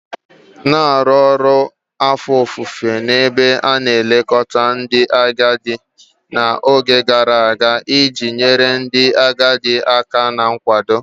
Na-arụ ọrụ afọ ofufo n'ebe a na-elekọta ndị agadi n'oge gara aga iji nyere ndị agadi aka na nkwado